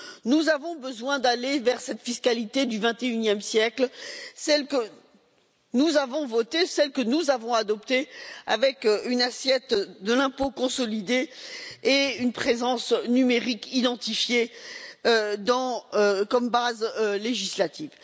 Nous avons besoin d'aller vers cette fiscalité du vingt et unième siècle, celle que nous avons votée, celle que nous avons adoptée, avec une assiette de l'impôt consolidée et une présence numérique identifiée comme base législative.